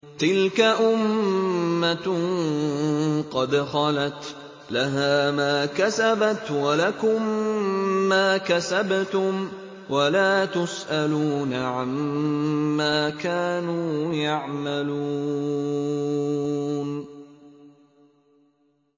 تِلْكَ أُمَّةٌ قَدْ خَلَتْ ۖ لَهَا مَا كَسَبَتْ وَلَكُم مَّا كَسَبْتُمْ ۖ وَلَا تُسْأَلُونَ عَمَّا كَانُوا يَعْمَلُونَ